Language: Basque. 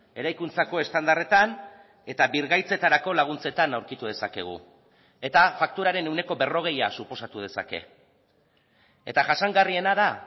eraikuntzako estandarretan eta birgaitzetarako laguntzetan aurkitu dezakegu eta fakturaren ehuneko berrogeia suposatu dezake eta jasangarriena da